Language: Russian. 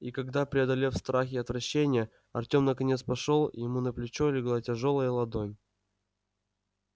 и когда преодолев страх и отвращение артём наконец пошёл ему на плечо легла тяжёлая ладонь